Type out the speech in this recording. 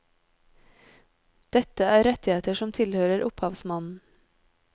Dette er rettigheter som tilhører opphavsmannen.